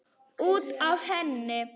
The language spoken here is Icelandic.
Út af henni!